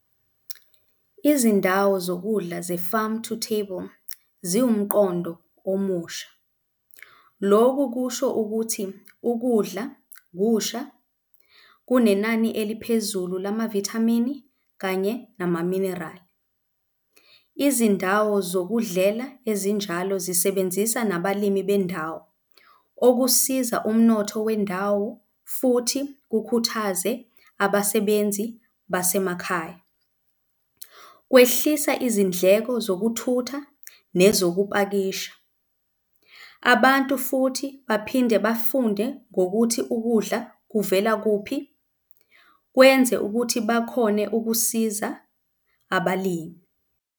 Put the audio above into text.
Izindawo zokudla ze-farm to table ziwumqondo omusha. Lokhu kusho ukuthi ukudla kusha kunenani eliphezulu lamavithamini kanye nama-mineral. Izindawo zokudlela ezinjalo zisebenzisa nabalimi bendawo, okusiza umnotho wendawo futhi kukhuthaze abasebenzi basemakhaya. Kwehlisa izindleko zokuthutha nezokupakisha. Abantu futhi baphinde bafunde ngokuthi ukudla kuvela kuphi, kwenze ukuthi bakhone ukusiza abalimi.